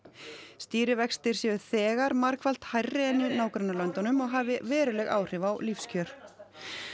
stýrivextir séu þegar margfalt hærri en í nágrannalöndunum og hafi veruleg áhrif á lífskjör